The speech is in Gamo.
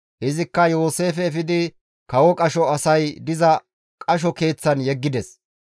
Izikka Yooseefe efidi kawo qasho asay diza qasho keeththan yeggides.